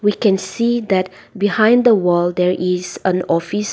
we can see that behind the wall there is an office.